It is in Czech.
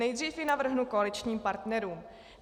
Nejdřív ji navrhnu koaličním partnerům.